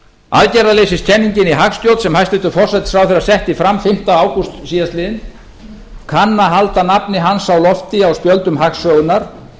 aðgerðarleysiskenningin í hagstjórn sem hæstvirtur forsætisráðherra setti fram fimmta ágúst síðastliðinn kann að halda nafni hans á lofti á spjöldum hagsögunnar en ég